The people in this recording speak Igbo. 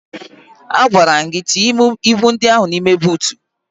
Agwara m gị tinye ibu ndị ahụ n'ime buutu!